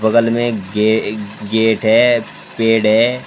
बगल में गेट है पेड़ है।